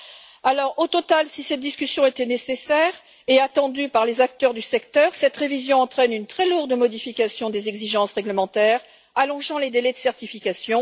En définitive, si cette discussion était nécessaire et attendue par les acteurs du secteur, cette révision entraîne une très lourde modification des exigences réglementaires allongeant les délais de certification.